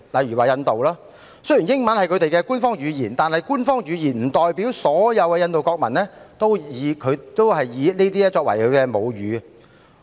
以印度為例，雖然英文是其官方語言，但這並不代表所有印度國民皆以英文作為母語。